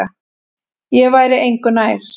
Ég væri engu nær.